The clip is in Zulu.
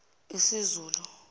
iszulu